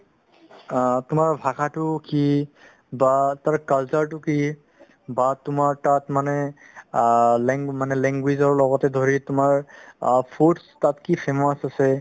অ, তোমাৰ ভাষাতো কি বা তাৰে culture তো কি বা তোমাৰ তাত মানে অ lang~ মানে language ৰ লগতে ধৰি তোমাৰ অ foods তাত কি famous আছে